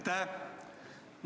Aitäh!